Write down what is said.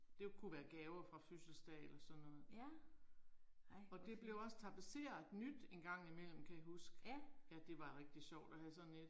Det kunne være gaver fra fødselsdage eller sådan noget. Og det blev også tapeseret nyt en gang imellem kan jeg huske. Ja det var rigtig sjovt at have sådan et